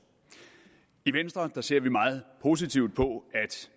i venstre ser vi meget positivt på